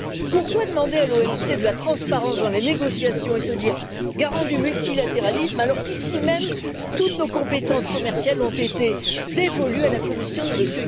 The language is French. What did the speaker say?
Pourquoi demander à l'OMC de la transparence dans les négociations et se dire garant du multilatéralisme alors qu'ici même toutes nos compétences commerciales ont été dévolues à la Commission de M.